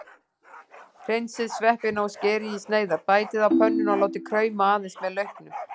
Hreinsið sveppina og skerið í sneiðar, bætið á pönnuna og látið krauma aðeins með lauknum.